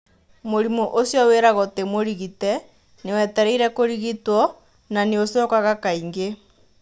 Mũrimũ ũcio wĩragwo tĩ mũrigite, nĩ wetereire kũrigitwo ka nĩ ũcokaga kaingĩ.